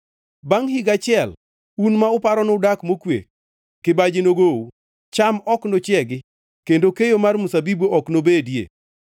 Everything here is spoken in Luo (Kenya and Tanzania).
Bangʼ higa achiel, un ma uparo nudak mokwe, kibaji nogou; cham ok nochiegi, kendo keyo mar mzabibu ok nobedie.